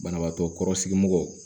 Banabaatɔ kɔrɔ sigi mɔgɔ